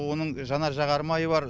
оның жанар жағармайы бар